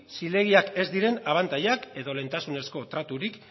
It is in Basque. zilegiak ez diren abantailak edo lehentasunezko traturik